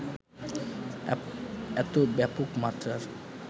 এত ব্যাপক মাত্রার